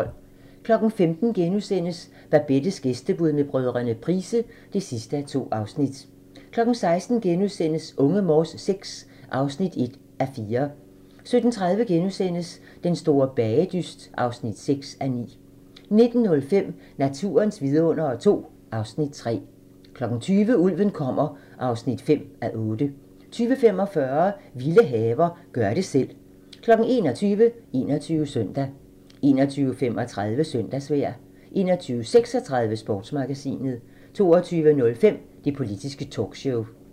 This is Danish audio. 15:00: Babettes gæstebud med brødrene Price (2:2)* 16:00: Unge Morse VI (1:4)* 17:30: Den store bagedyst (6:9)* 19:05: Naturens vidundere II (Afs. 3) 20:00: Ulven kommer (5:8) 20:45: Vilde haver – gør det selv 21:00: 21 Søndag 21:35: Søndagsvejr 21:36: Sportsmagasinet 22:05: Det politiske talkshow